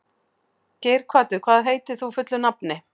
Geirhvatur, hvað heitir þú fullu nafni?